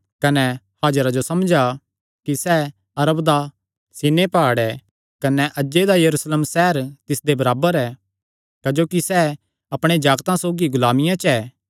कने हाजिरा जो समझा कि सैह़ अरब दा सीनै प्हाड़ ऐ कने अज्जे दा यरूशलेम सैहर तिसदे बराबर ऐ क्जोकि सैह़ अपणे जागतां सौगी गुलामिया च ऐ